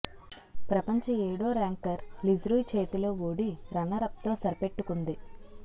ప్రపంచ ఏడో ranker Li Xuerui చేతిలో ఓడి రన్నరప్తో సరిపెట్టుకుంది